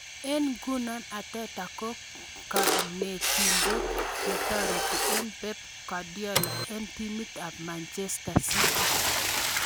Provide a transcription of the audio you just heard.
Eng' nguno Arteta ko kanetindet taretindet ab Pep Guardiola eng' timit ab Manchester City.